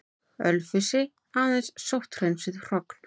Ölfusi, aðeins sótthreinsuð hrogn.